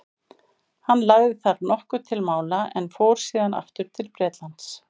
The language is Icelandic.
hann lagði þar nokkuð til mála en fór síðan aftur til bretlands